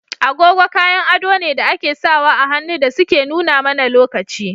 Agogo kayan ado ne da ake *sawa ahannu dasuke nuna mana lokaci.